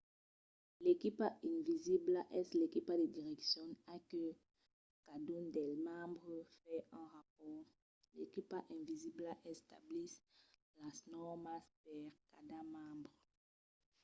l' equipa invisibla” es l'equipa de direccion a la que cadun dels membres fa un rapòrt. l'equipa invisibla estabís las nòrmas per cada membre